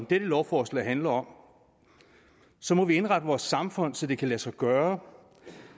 dette lovforslag handler om så må vi indrette vores samfund så det kan lade sig gøre